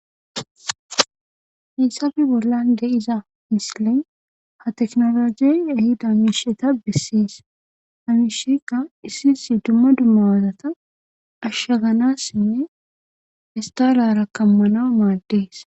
Hissafi bollan de iza misilin ha teknologiy ahida amiisheta bessees hamishekka issi issi dumma dummawaadata ashshaganassinne istala rakkammanau maaddees